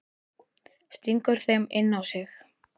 Stingur þeim inn á sig.